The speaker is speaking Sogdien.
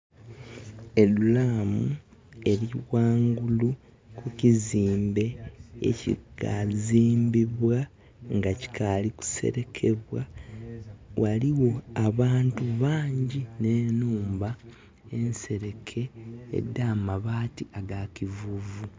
Edulaamu eli ghanghulu ku kizimbe ekikazimbibwa, nga kikaali kuselekebwa. Ghaligho abantu bangyi n'enhumba enseleke edha amabaati aga kivuvu.